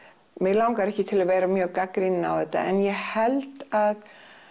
mig langar ekki til að vera mjög gagnrýnin á þetta en ég held að